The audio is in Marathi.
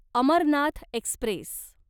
अमरनाथ एक्स्प्रेस